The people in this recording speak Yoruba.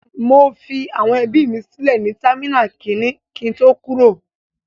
I left my family members at terminal one before I departed.